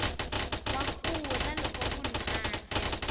wa kula loko munhu adya